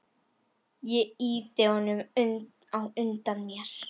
Ég ýti honum á undan mér.